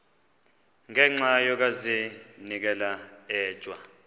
ngenxa yokazinikela etywa